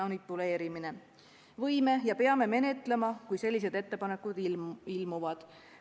Võime menetleda ja peame menetlema, kui sellised ettepanekud ilmuvad.